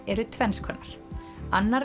eru tvenns konar annar